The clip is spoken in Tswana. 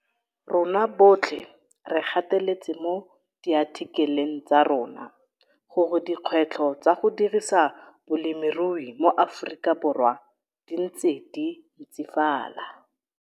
RONA BOTLHE RE GATELETSE MO DIATHIKELENG TSA RONA GORE DIKGWETLHO TSA GO DIRISA BOLEMIRUI MO AFORIKABORWA DI NTSE DI NTSIFALA.